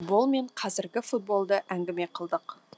футбол мен қазіргі футболды әңгіме қылдық